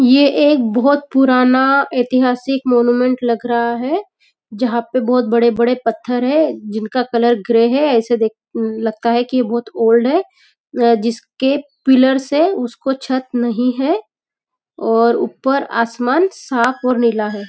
ये एक बहुत पुराना इतिहासिक मौनुमेंट लग रहा है जहाँ पे बहुत बड़े बड़े पत्थर हैं जिनका कलर ग्रे है ऐसे देक अं लगता है की यह बहुत ओल्ड है जिसके पिलर्स है उसको छत नहीं है और ऊपर आसमान साफ़ और नीला है।